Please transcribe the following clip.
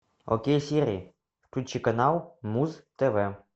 окей сири включи канал муз тв